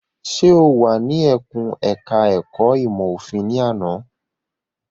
Ṣé o wà ní ẹkùn ẹ̀ka ẹ̀kó ìmọ̀ òfin ní àná?